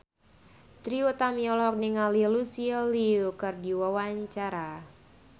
Trie Utami olohok ningali Lucy Liu keur diwawancara